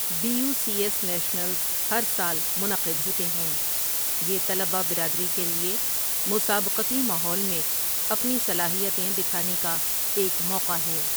Be U C S nationals ہر سال منعقد ہوتے ہیں، یہ طلبہ برادری کے لیے مسابقتی ماحول میں اپنی صلاحیتیں دکھانے کا ایک موقع ہے۔